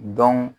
Dɔn